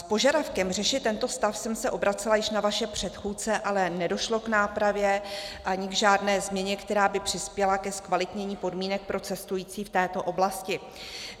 S požadavkem řešit tento stav jsem se obracela již na vaše předchůdce, ale nedošlo k nápravě ani k žádné změně, která by přispěla ke zkvalitnění podmínek pro cestující v této oblasti.